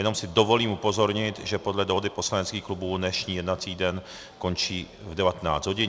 Jenom si dovolím upozornit, že podle dohody poslaneckých klubů dnešní jednací den končí v 19 hodin.